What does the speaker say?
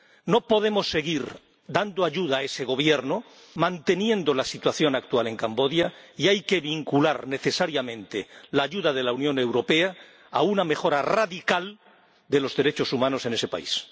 No podemos seguir dando ayuda a ese Gobierno, manteniendo la situación actual en Camboya, y hay que vincular necesariamente la ayuda de la Unión Europea a una mejora radical de los derechos humanos en ese país.